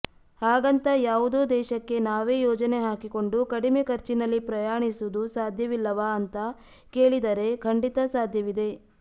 ಹಾಗಂತ ಯಾವುದೋ ದೇಶಕ್ಕೆ ನಾವೇ ಯೋಜನೆ ಹಾಕಿಕೊಂಡು ಕಡಿಮೆ ಖರ್ಚಿನಲ್ಲಿ ಪ್ರಯಾಣಿಸುವುದು ಸಾಧ್ಯವಿಲ್ಲವಾ ಅಂತ ಕೇಳಿದರೆ ಖಂಡಿತ ಸಾಧ್ಯವಿದೆ